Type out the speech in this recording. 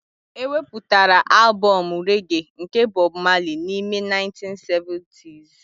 E wepụtara albọm rege nke Bob Marley n'ime 1970s